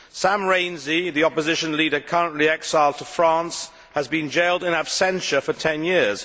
Sam Rainsy, the Opposition leader currently exiled to France, has been jailed in absentia for ten years.